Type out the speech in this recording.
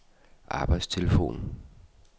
arbejdstelefon